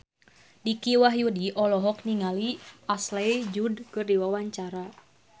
Dicky Wahyudi olohok ningali Ashley Judd keur diwawancara